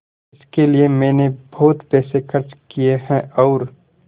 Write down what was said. इसके लिए मैंने बहुत पैसे खर्च किए हैं और